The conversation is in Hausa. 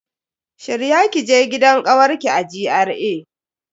Shirya kije gidan kawarki a GRA.